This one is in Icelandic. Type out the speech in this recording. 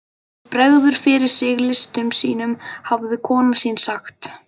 Hann bregður fyrir sig listum sínum hafði kona mín sagt.